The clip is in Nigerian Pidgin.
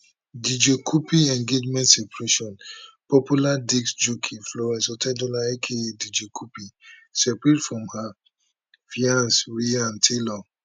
dj cuppy engagement separation popular disc jockey florence otedola aka dj cuppy separate from her fiance ryan taylor